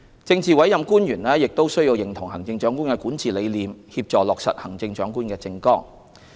政治委任官員亦須認同行政長官的管治理念，協助落實行政長官的政綱。